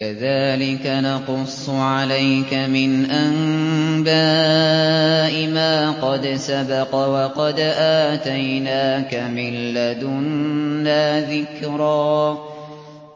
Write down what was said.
كَذَٰلِكَ نَقُصُّ عَلَيْكَ مِنْ أَنبَاءِ مَا قَدْ سَبَقَ ۚ وَقَدْ آتَيْنَاكَ مِن لَّدُنَّا ذِكْرًا